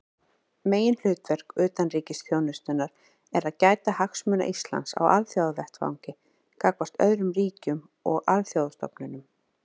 Meginhlutverk utanríkisþjónustunnar er að gæta hagsmuna Íslands á alþjóðavettvangi gagnvart öðrum ríkjum og alþjóðastofnunum.